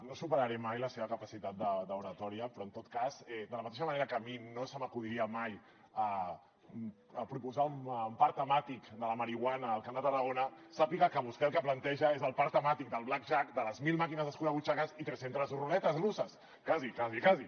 no superaré mai la seva capacitat d’oratòria però en tot cas de la mateixa manera que a mi no se m’acudiria mai proposar un parc temàtic de la marihuana al camp de tarragona sàpiga que vostè el que planteja és el parc temàtic del blackjack de les mil màquines escurabutxaques i tres centes ruletes russes quasi quasi quasi